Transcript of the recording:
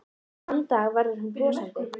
Og þann dag verður hún brosandi.